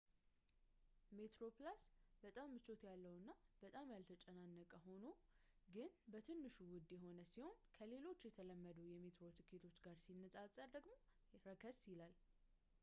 metroplus በጣም ምቾት ያለውና በብዛት ያልተጨናነቀ ሆኖ ግን በትንሹ ውድ የሆነ ሲሆን ከሌሎች የተለመዱ የሜትሮ ቲኬቶች ጋር ሲነፃፀር ደግሞ ረከስ ይላል